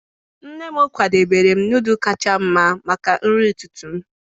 nne m kwadebere nọdụlụ kacha mma maka nri ụtụtụ m.